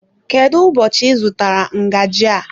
Kedụ ụbọchị I zụtara ngaji a?